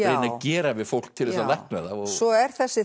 að gera við fólk til þess að lækna það svo er þessi